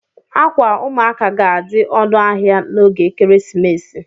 Ákwà ụmụaka ga-adị ọnụ ahịa n'oge ekeresimesi